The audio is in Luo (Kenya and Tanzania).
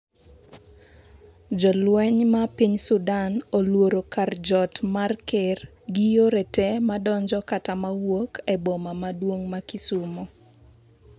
jolweny ma piny Sudan olworo kar jot mar ker gi yore te ma donjo kata ma wuok e boma maduong' ma Kisumo